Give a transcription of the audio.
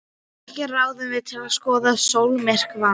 Ekki ráðrúm til að skoða sólmyrkvann.